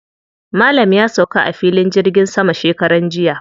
Malam ya sauka a filin jirgin sama shekaran jiya.